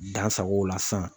Dan sag'o la san.